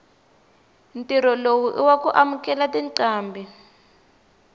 ntirho lowu iwaku amukela tincambi